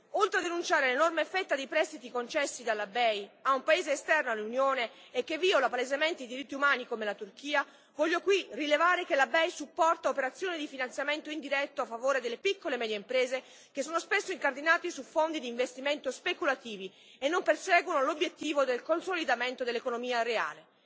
Oltre a denunciare l'enorme fetta dei prestiti concessi dalla BEI a un paese esterno all'Unione e che viola palesemente i diritti umani, come la Turchia, voglio qui rilevare che la BEI supporta operazioni di finanziamento indiretto a favore delle piccole e medie imprese che sono spesso incardinati su fondi d'investimento speculativi e non perseguono l'obiettivo del consolidamento dell'economia reale.